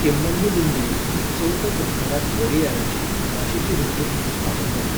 केम्मन्नुगुंडी ही चवथो कृष्णराज वोडेयाराची, उमाशेची रिट्रीट म्हुणून स्थापन जाल्ली.